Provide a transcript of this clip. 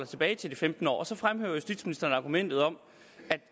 tilbage til de femten år så fremhæver justitsministeren argumentet om